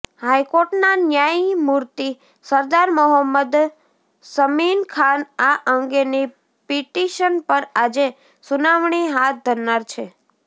હાઈકોર્ટના ન્યાયમૂર્તિ સરદાર મોહમ્મદ શમીનખાન આ અંગેની પિટિશન પર આજે સુનાવણી હાથ ધરનાર છે